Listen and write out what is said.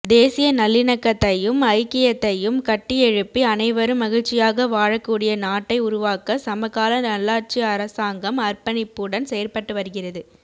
தேசிய நல்லிணக்கத்தையும் ஐக்கியத்தையும் கட்டியெழுப்பி அனைவரும் மகிழ்ச்சியாக வாழக்கூடிய நாட்டை உருவாக்க சமகால நல்லாட்சி அரசாங்கம் அர்ப்பணிப்புடன் செயற்பட்டு வருகிறது